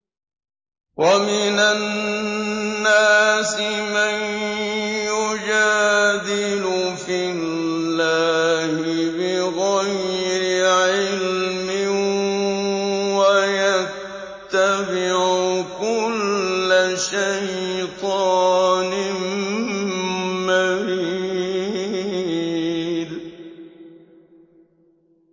وَمِنَ النَّاسِ مَن يُجَادِلُ فِي اللَّهِ بِغَيْرِ عِلْمٍ وَيَتَّبِعُ كُلَّ شَيْطَانٍ مَّرِيدٍ